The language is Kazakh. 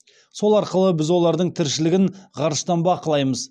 сол арқылы біз олардың тіршілігін ғарыштан бақылаймыз